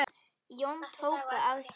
Jón tók það að sér.